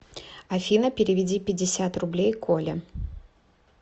афина переведи пятьдесят рублей коле